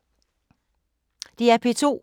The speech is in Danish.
DR P2